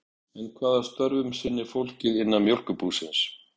En hvaða störfum sinnir fólkið innan Mjólkurbúsins?